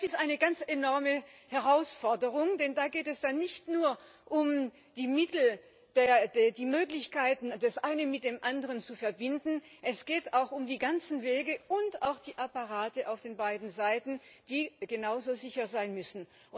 Das ist eine ganz enorme Herausforderung, denn da geht es dann nicht nur um die Mittel, die Möglichkeiten, das eine mit dem anderen zu verbinden, es geht auch um die ganzen Wege und auch die Apparate auf beiden Seiten, die genauso sicher sein müssen.